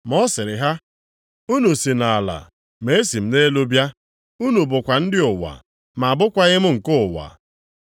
Ma ọ sịrị ha, “Unu si nʼala ma esi m nʼelu bịa. Unu bụkwa ndị ụwa, ma abụkwaghị m nke ụwa a.